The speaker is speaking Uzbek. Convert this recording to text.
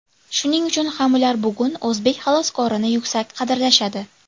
Shuning uchun ham ular bugun o‘zbek xaloskorini yuksak qadrlashadi.